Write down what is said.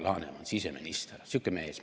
" Alar Laneman, siseminister – sihuke mees.